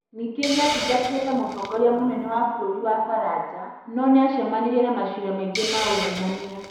Ningĩ nĩ aatungatire ta mũtongoria mũnene wa bũrũri wa Faranja, no nĩ aacemanirie na maciira maingĩ ma ungumania.